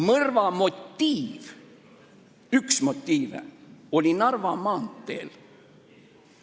Mõrva motiiv – üks motiive – oli Narva maanteel.